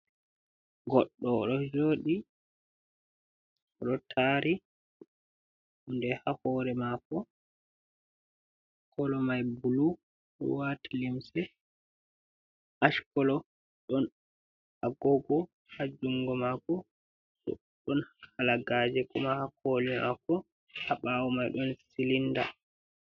Goɗɗo o ɗo jodi. O ɗo tari nde ha hore maako. Kolo mai bulu, o ɗo waati limse ash kolo. Ɗon agogo ha jungo maako. Bo ɗon halagaje kuma ha koli maako. Ha ɓaawo mai ɗon silinda.